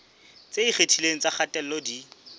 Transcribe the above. tse ikgethileng tsa kgatello di